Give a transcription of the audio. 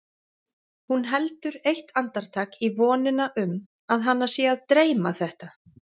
Hún heldur eitt andartak í vonina um að hana sé að dreyma þetta.